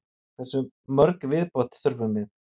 Hversu mörg í viðbót þurfum við?